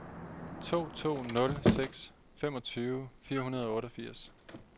to to nul seks femogtyve fire hundrede og otteogfirs